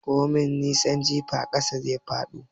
Komin nisan jifa ai ƙasa zai faɗo.